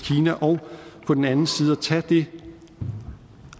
kina og på den anden side at tage det